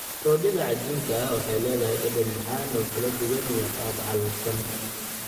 Roodhida cajiinka ah waxay leedahay dhadhan macaan oo kala duwan iyo qaab calalsan.